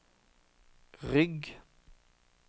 rygg